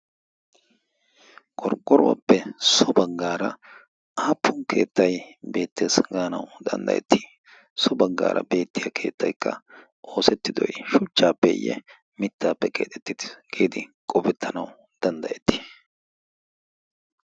qorqqoruwaappe so baggaara aappun keettai beettees. gaanau danddayetti so baggaara beettiya keettaikka oosettidoi shuchchaappeeyye mittaappe qeexettiii geedi qofettanawu danddayettii?